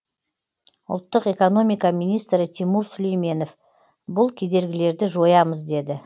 ұлттық экономика министрі тимур сүлейменов бұл кедергілерді жоямыз деді